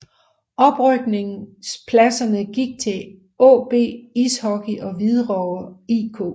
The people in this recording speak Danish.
Oprykningpladserne gik til AaB Ishockey og Hvidovre IK